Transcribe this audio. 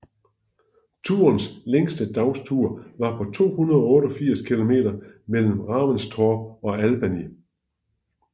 Turens længste dagstur var på 288 km mellem Raventshorpe og Albany